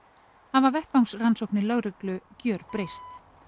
hafa vettvangsrannsóknir lögreglu gjörbreyst